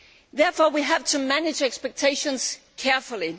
Therefore, we have to manage expectations carefully.